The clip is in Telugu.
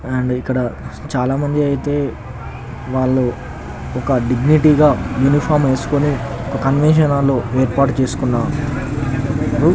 ఇక్కడ చాలా మంది అయితే వాళ్ళు దిగనీటి గా యూనీఫార్మ్ వేసుకుని కన్వెన్షన్ హాల్ లో ఏర్పాటు చేసుకున్న